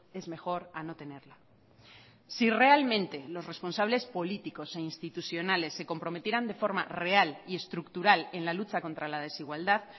es mejor a no tenerla si realmente los responsables políticos e institucionales se comprometieran de forma real y estructural en la lucha contra la desigualdad